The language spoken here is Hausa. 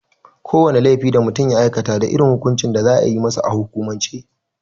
Ko wane laifi da mutum ya aikata da irin hukuncin da za a yi masa a hukumance.